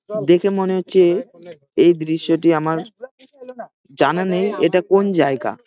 দেখে মনে হচ্ছে এই দৃশ্যটি আমার জানা নেই এটা কোন জায়গা।